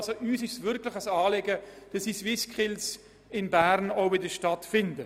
Uns ist es wirklich ein Anliegen, dass die SwissSkills wieder in Bern stattfinden.